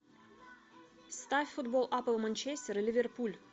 ставь футбол апл манчестер и ливерпуль